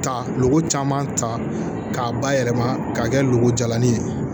Ta lu caman ta k'a bayɛlɛma k'a kɛ loko jalanin ye